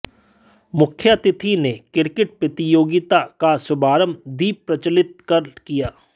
मुख्यातिथि ने क्रिकेट प्रतियोगिता का शुभारंभ दीप प्रज्वलित कर किया